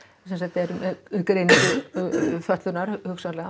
eru með greiningu fötlunar hugsanlega